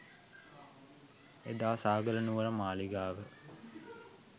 එදා සාගල නුවර මාළිගාව